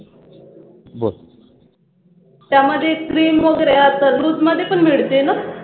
त्यामध्ये Cream वगैरे आसं loose मध्ये पण मिळतेना.